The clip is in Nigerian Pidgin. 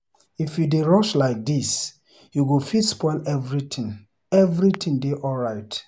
If you dey rush like dis you go fit spoil something. Everything dey alright.